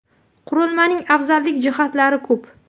Qurilmaning afzallik jihatlari ko‘p.